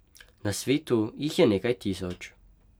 Na svetu jih je nekaj tisoč.